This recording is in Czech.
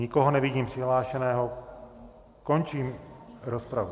Nikoho nevidím přihlášeného, končím rozpravu.